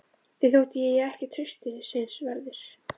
Þeim þótti ég ekki traustsins verður.